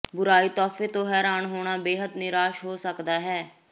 ਬੁਰਾਈ ਤੋਹਫ਼ੇ ਤੋਂ ਹੈਰਾਨ ਹੋਣਾ ਬੇਹੱਦ ਨਿਰਾਸ਼ ਹੋ ਸਕਦਾ ਹੈ